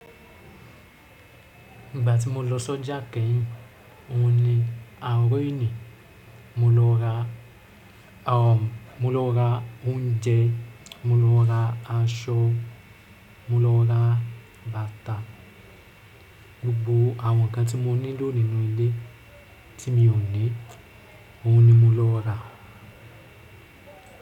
Gbà tí mo lọ sójà keyìn, ò ní àárín ni mo lọ ra oúnjẹ, mo lọ ra aṣọ, mo lọ ra bàtà, gbogbo àwọn nǹkan tí mo nílò nínú ilé tí mio ní, ò ní mo lọ ra.